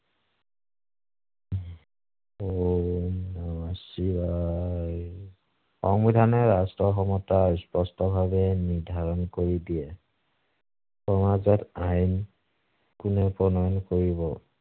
সংবিধানে ৰাষ্ট্ৰৰ ক্ষমতা স্পষ্টভাৱে নিৰ্ধাৰণ কৰি দিয়ে। সমাজত আইন কোনে প্ৰণয়ন কৰিব